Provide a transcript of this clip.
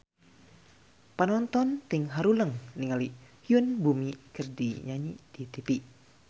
Panonton ting haruleng ningali Yoon Bomi keur nyanyi di tipi